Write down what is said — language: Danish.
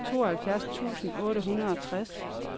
tooghalvfjerds tusind otte hundrede og tres